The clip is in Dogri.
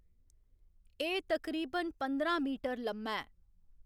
एह्‌‌ तकरीबन पंदरां मीटर लम्मा ऐ।